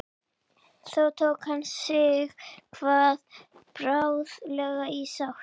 þó tók hann sighvat bráðlega í sátt